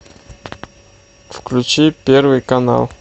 включи первый канал